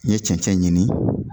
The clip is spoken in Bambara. N ye cɛn cɛn ɲini